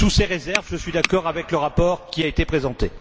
Sous ces réserves, je suis d'accord avec le rapport qui a été présenté.